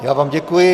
Já vám děkuji.